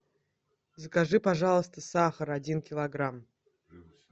закажи пожалуйста сахар один килограмм